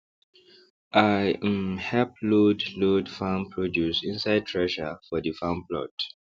i um help load load farm produce inside thresher for dey farm plot